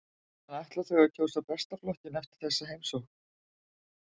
En ætla þau að kjósa Besta flokkinn eftir þessa heimsókn?